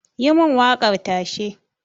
yi mun wakar tashe